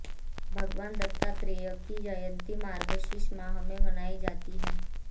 भगवान दत्तात्रेय की जयंती मार्गशीर्ष माह में मनाई जाती है